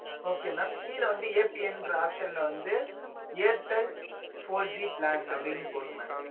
okay mam கீழ வந்து ன்ற option ல வந்து airtel four G plan அப்டீன்னு போடுங்க mam